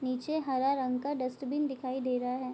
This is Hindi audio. नीचे हरा रंग का डस्टबिन दिखाई दे रहा है।